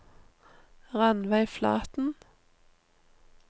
Ranveig Flaten